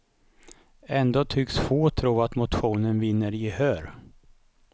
Ändå tycks få tro att motionen vinner gehör.